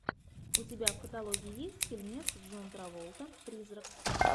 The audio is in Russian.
у тебя в каталоге есть фильмец с джон траволта призрак